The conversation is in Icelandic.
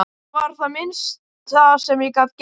Þetta var það minnsta sem ég gat gert